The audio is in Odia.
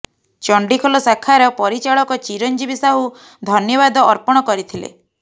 ଚଣ୍ଡିଖୋଲ ଶାଖାର ପରିଚାଳକ ଚିରଞ୍ଜିବୀ ସାହୁ ଧନ୍ୟବାଦ ଅର୍ପଣ କରିଥିଲେ